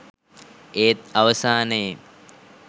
ඒත් අවසානයේ